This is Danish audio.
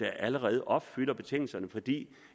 allerede opfylder betingelserne fordi de